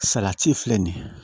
Salati filɛ nin ye